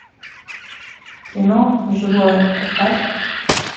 кино живое поставь